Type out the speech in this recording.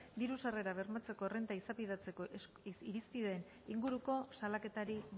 diru sarrerak bermatzeko errenta izapidetzeko irizpideen inguruko salaketari